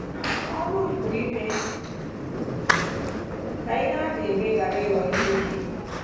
Ọrụ m bụ ime ka ihe a na-eme ghara ịghọ ihe ike.